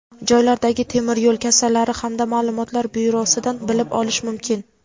joylardagi temir yo‘l kassalari hamda ma’lumotlar byurosidan bilib olish mumkin.